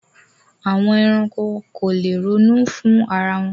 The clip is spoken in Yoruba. Àwọn ẹranko ko lè ronú fún ara wọn.